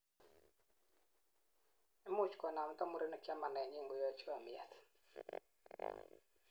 imuch konamda murenik chamanetnyin angoyoe chomyet